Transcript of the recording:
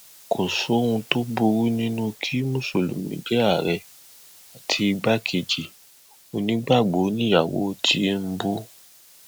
kò sóhun tó burú nínú kí mùsùlùmí jẹ ààrẹ àti igbákejì onígbàgbọ níyàwó tìǹbù